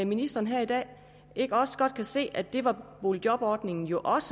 ministeren her i dag ikke også godt kan se at boligjobordningen jo også